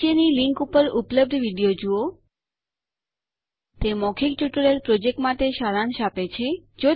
નીચેની લીંક પર ઉપલબ્ધ વિડીયો જુઓ httpspoken tutorialorgWhat is a Spoken Tutorial તે મૌખિક ટ્યુટોરીયલ પ્રોજેક્ટ માટે સારાંશ આપે છે